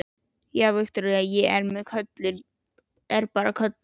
Já, Viktoría, ég veit að köllun er bara köllun.